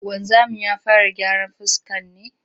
Wanzamin ya fara gyaran fuska ne?